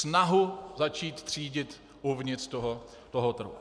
Snahu začít třídit uvnitř toho trhu.